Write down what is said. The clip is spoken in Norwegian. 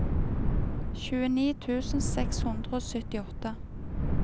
tjueni tusen seks hundre og syttiåtte